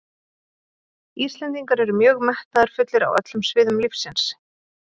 Íslendingar eru mjög metnaðarfullir á öllum sviðum lífsins.